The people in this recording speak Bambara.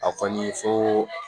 A kɔni foo